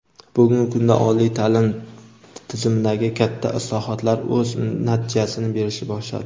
Bugungi kunda oliy taʼlim tizimidagi katta islohotlar o‘z natijasini berishni boshladi.